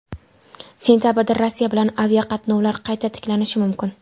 Sentabrda Rossiya bilan aviaqatnovlar qayta tiklanishi mumkin.